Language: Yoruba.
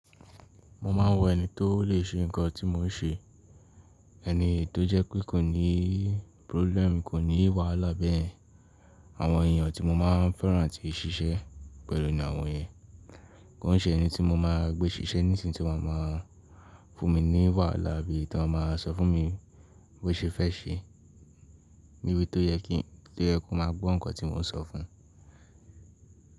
Mo máa ń wọ ẹni tó lè ṣe nǹkan tí mó ń ṣe, ẹni tó jẹ́ pé kò ní problem, kò ní wàhálà beyen Àwọn ènìyàn tí mo máa ń fẹ́ràn tì sì ṣẹ́ pẹ̀lú ni àwọn yẹn. Kon ṣẹ́ ẹni tí mo máa gbé ṣiṣẹ́ nísìn tí wọ́n máa ń fún mi wàhálà bí i tó máa sọ fún mi bó ṣe fẹ́ ṣe, níbi tó yẹ kí kó máa gbọ́ nǹkan tí mó ń sọ fún un.